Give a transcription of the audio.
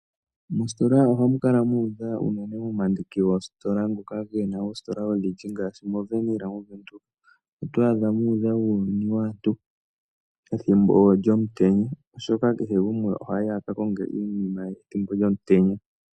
Mositola ohamu kala mu udha unene momandiki goositola ngoka ge na oositola odhindji na ngaashi moWernhill mOvenduka. Oto adha mu udha uuyuni waantu pethimbo lyomutenya, oshoka kehe gumwe ohayi a ka konge iinima ye thimbo lyomutenya.